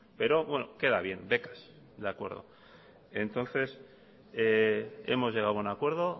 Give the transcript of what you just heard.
pero queda bien becas de acuerdo entonces hemos llegado a un acuerdo